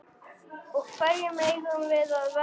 Og hverjum eigum við að verjast?